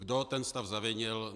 Kdo ten stav zavinil?